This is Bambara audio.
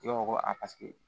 I b'a fɔ ko a paseke